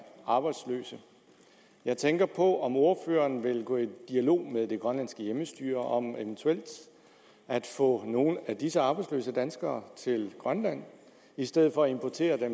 arbejdsløse jeg tænker på om ordføreren vil gå i dialog med det grønlandske hjemmestyre om eventuelt at få nogle af disse arbejdsløse danskere til grønland i stedet for at importere